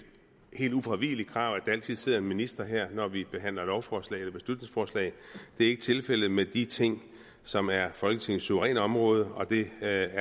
helt ufravigeligt krav at der altid sidder en minister her når vi behandler lovforslag eller beslutningsforslag det er ikke tilfældet med de ting som er folketingets suveræne område og det er